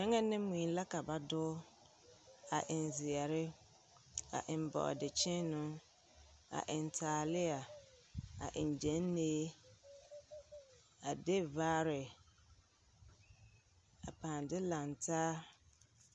Gyɛlɛ ne mui la ka ba doge, a eŋ zeɛre, a eŋ bɔɔdekyeene, a eŋ taaleɛ, a eŋ gyɛnlee, a de vaare, a pᾱᾱ de lantaa.